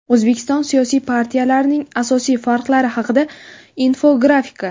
O‘zbekiston siyosiy partiyalarining asosiy farqlari haqida infografika.